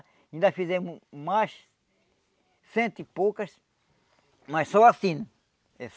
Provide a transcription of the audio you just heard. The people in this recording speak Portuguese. Ainda fizemos mais, cento e poucas, mas só assim. Eh